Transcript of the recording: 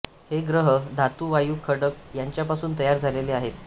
हे ग्रह धातू वायू खडक यांच्यापासून तयार झालेले आहेत